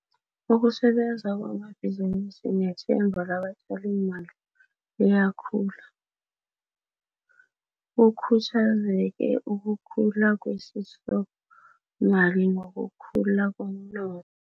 Ukusebenza kwamabhizinisi nethemba labatjalimali liyakhula, kukhuthazeke ukukhula kwesisomali nokukhula komno